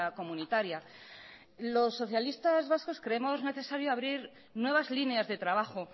comunitaria los socialistas vascos creemos necesario abrir nuevas líneas de trabajo